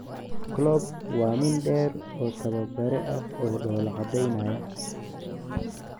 Klopp waa nin dheer oo tababare ah oo dhoola cadeynaya.